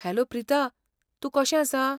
Hello Prita, तूं कशें आसा?